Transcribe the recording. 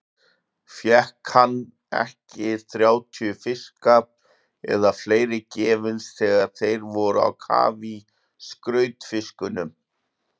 Fékk hann ekki þrjátíu fiska eða fleiri gefins þegar þeir voru á kafi í skrautfiskunum?